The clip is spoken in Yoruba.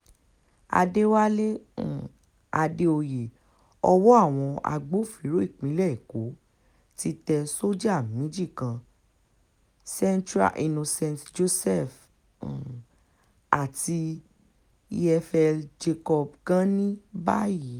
àdẹ̀wálé um àdèoyè ọwọ́ àwọn agbófinró ìpínlẹ̀ èkó ti tẹ sọ́jà méjì kan centre innocent joseph um àti efl jacob gani báyìí